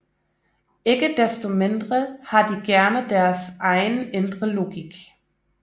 Ikke desto mindre har de gerne deres egen indre logik